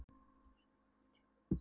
Árnason vó undir Jökli um þessar mundir.